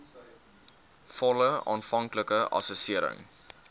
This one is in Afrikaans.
volle aanvanklike assessering